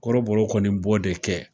Kɔrɔbɔrɔ kɔni b'o de kɛ,